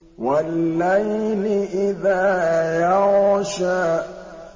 وَاللَّيْلِ إِذَا يَغْشَىٰ